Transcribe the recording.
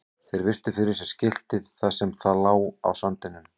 Þeir virtu fyrir sér skiltið þar sem það lá á sandinum.